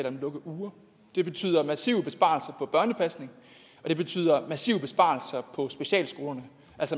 om lukkeuger det betyder massive besparelser på børnepasning og det betyder massive besparelser på specialskolerne